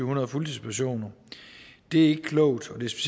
hundrede fuldtidspersoner det er ikke klogt og det